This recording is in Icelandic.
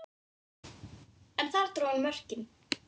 Hann gefur lítið upp.